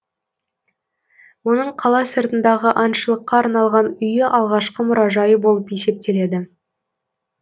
оның қала сыртындағы аңшылыққа арналған үйі алғашқы мұражайы болып есептеледі